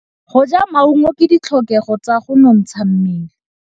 Go ja maungo ke ditlhokegô tsa go nontsha mmele.